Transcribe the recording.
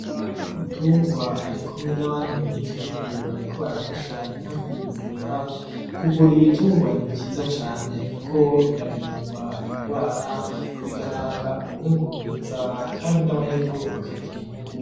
Muganga w’ugitungwa arikumwe n’abandi ba nyagihugu bariko barafasha inka kuyivura , kuvura ibitungwa ni vyiza cane Kuko birarindwa indwara bigatanga umwimbu mwiza kandi n’abanyagihugu bakagira inyungu